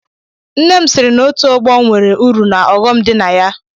Nne m siri na otu ọgbọ nwere uru na ọghọm dị na ya.